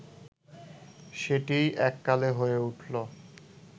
সেটিই এককালে হয়ে উঠল